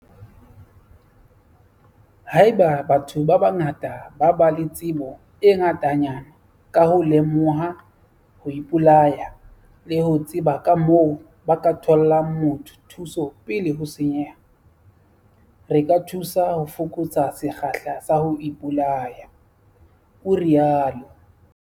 "Haeba batho ba bangata ba ba le tsebo e ngatanyana ka ho lemoha ho ipolaya le ho tseba kamoo ba ka thollang motho thuso pele ho senyeha, re ka thusa ho fokotsa sekgahla sa ho ipolaya," o rialo.